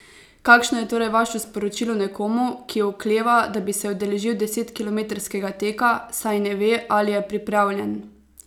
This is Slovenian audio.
Kakšno je torej vaše sporočilo nekomu, ki okleva, da bi se udeležil desetkilometrskega teka, saj ne ve, ali je pripravljen?